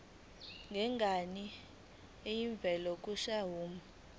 ngenyanga elivela kwisikhwama